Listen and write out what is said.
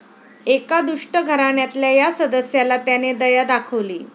एका दुष्ट घराण्यातल्या या सदस्याला त्याने दया दाखवली.